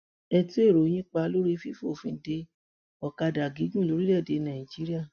ẹ tún èrò yín pa lórí fífòfin dé ọkadà gígùn lórílẹèdè nàíjíríà